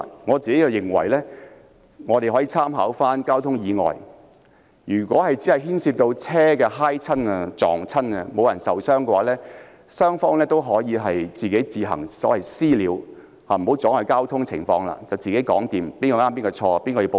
我認為可以參考交通意外的處理方法，如果只是牽涉車輛碰撞而無人受傷，雙方可以私下解決，自行協商誰對誰錯、由誰向保險公司申報，全部自行處理，不要阻礙交通。